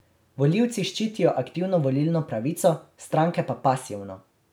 Volivci ščitijo aktivno volilno pravico, stranke pa pasivno.